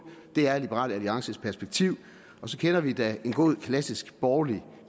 det er liberal alliances perspektiv og så kender vi da en god klassisk borgerlig